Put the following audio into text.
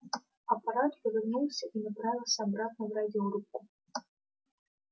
аппарат повернулся и направился обратно в радиорубку